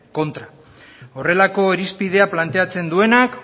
kontra horrelako irizpidea planteatzen duenak